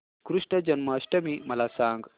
कृष्ण जन्माष्टमी मला सांग